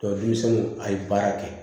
denmisɛnnu a ye baara kɛ